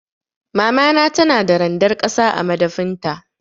Mamana tana da randar ƙasa a madafin ta.